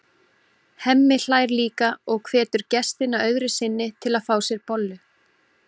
Hemmi hlær líka og hvetur gestina öðru sinni til að fá sér bollu.